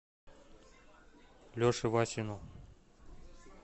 леше васину